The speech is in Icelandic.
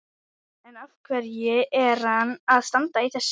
En af hverju er hann að standa í þessu?